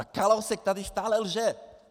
A Kalousek tady stále lže.